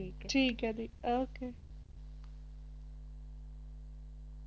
ਠੀਕ ਹੈ ਦੀ ok